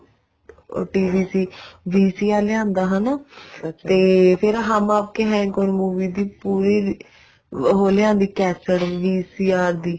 TV ਸੀ VCR ਲਿਆਉਂਦਾ ਹਨਾ ਤੇ ਫ਼ੇਰ ਹਮ ਆਪਕੇ ਹੇ ਕੋਣ movie ਵੀ ਪੂਰੀ ਉਹ ਲਿਆਉਂਦੀ ਕੇਸ੍ਟ VCR ਦੀ